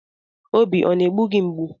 Obi ọ na-egbu gị mgbu?